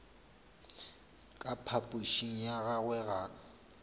ka phapošing ya gagwe ga